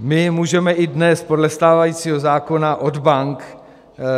My můžeme i dnes podle stávajícího zákona od bank